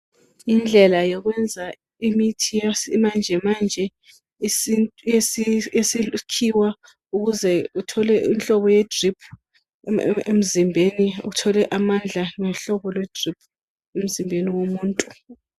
Indlela yokwenza imithi yesimanjemanje esibhukiwa ukuze uthole umhlobo yedrip emzimbeni uthole amandla ngomhlobo wedrip emzimbeni womuntu.